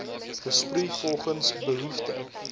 besproei volgens behoefte